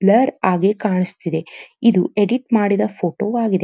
Blur ಆಗಿ ಕಾಣಿಯುತ್ತಿದೆ ಇದು ಎಡಿಟ್ ಮಡಿದ ಫೋಟೋ ಆಗಿದೆ.